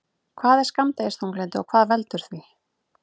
Hvað er skammdegisþunglyndi og hvað veldur því?